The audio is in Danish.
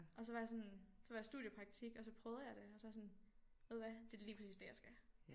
Og så var jeg sådan så var jeg i studiepraktik og så prøvede jeg det og så var jeg sådan ved du hvad det er da lige præcis det jeg skal